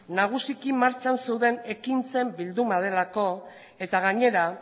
nagusiki martxan zeuden ekintzen bilduma delako eta gainera